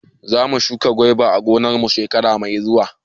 Zamu shuka gyada a gonar mu shekara mai zuwa